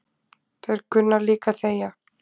Þeir kunna líka að þegja